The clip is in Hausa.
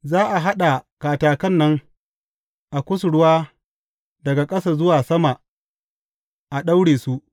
Za a haɗa katakan nan a kusurwa daga ƙasa zuwa sama a daure su.